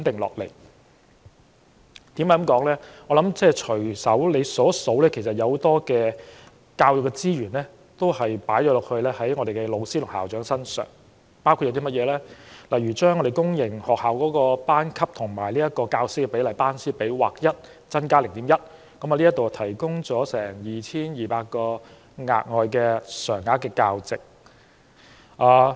只要我們隨便數一數，就會看到很多教育資源投放到教師和校長身上，包括把公營學校的班級與教師比例劃一增加 0.1， 提供了 2,200 個額外的常額教席。